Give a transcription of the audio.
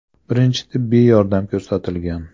Birinchi tibbiy yordam ko‘rsatilgan.